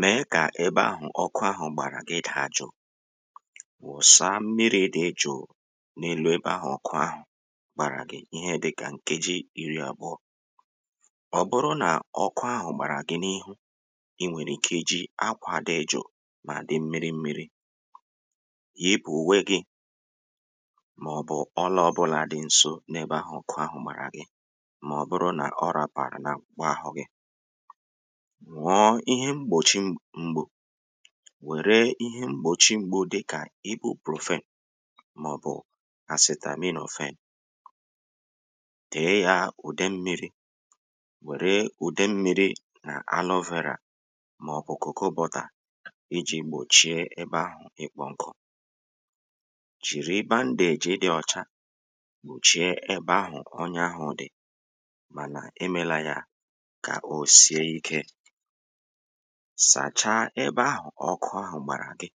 mèe kà ebe ahụ̀ ọkụ ahụ̀ gbàrà gị dàa jụ̀ụ̀ wụ̀sa mmirī dị jụ̀ụ̀ n’elu ebe ahụ̀ ọkụ ahụ̀ gbàrà gị ihe dịkà nkeji iri àbụọ̄ ọ bụrụ nà ọkụ ahụ̀ gbàrà gị̀ n’ịhụ i nwèrè ike i ji akwā dị jụ̀ụ̀ mà dị mmiri mmiri yipù ùfe gị̄ màọ̀bụ̀ ọlā ọbụlā dị nso n'ebe ahụ̀ ọ̣kụ gbàrà gị mà ọ bụrụ nà ọ rāpàrụ̀ n’akpụkpọ àhụ gị wère ihe mgbòchi mgbu dịkà ìbùpròfen mà ọ̀bụ̀ àsịtàminòfen tèe ya ùde mmīrī wère ùde mmīrī nà anovērà màọ̀bụ̀ kòko bọtà ijī gbòchie ebe ahụ̀ ịkpọ̄ nkụ kpụ̀chie ebe ahụ̀ ọnya ahụ̄ dị̀ manà e mele ya kà o sie ikē sàchaa ebe ahụ̀ ọkụ ahụ̀ gbàrà gị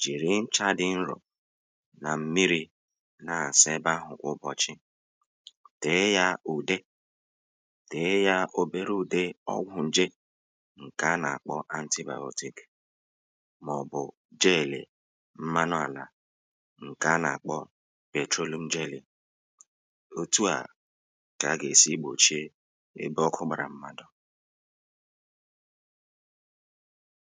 jìri nchà dị nrọ̀ nà m̀mirī na-àsa ebe ahụ̀ kwà ụbọ̀chị̀ tèe ya ùde ǹkè a nà-àkpọ antibàyọtik màọ̀bụ̀ jeèlè mmanụ àlà ǹkè a nà-àkpọ pètrolum jelì òtu à kà a gà-èsi gbòchi ebe ọkụ gbàrà mmadụ̀